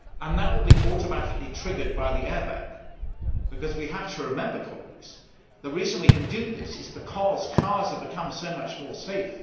That will be automatically triggered by the airbag. We have to remember the reason we can do this is because cars have become so much more safe.